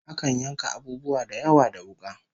Akan yanka abubuwa da yawa da wuka